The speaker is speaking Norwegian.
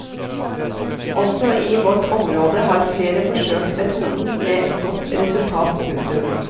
Også i vårt område har flere forsøkt metoden med godt resultat. punktum